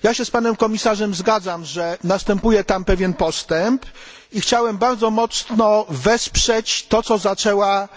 Zgadzam się z panem komisarzem, że następuje tam pewien postęp i chciałem bardzo mocno wesprzeć to, co zaczęła